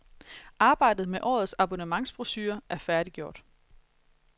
Arbejdet med årets abonnementsbrochure er færdiggjort.